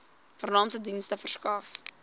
vernaamste dienste verskaf